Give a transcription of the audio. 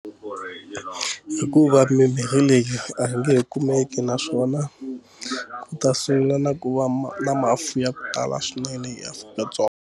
Hikuva mimirhi leyi a yi nge kumeki naswona ku ta sungula na ku va ma lama fuya ku tala swinene eAfrika-Dzonga.